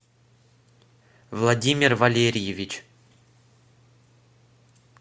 владимир валерьевич